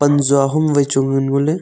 pan jua hom vai chu ngan ngo ley.